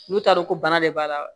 N'u t'a dɔn ko bana de b'a la wa